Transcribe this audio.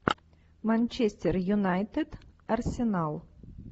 манчестер юнайтед арсенал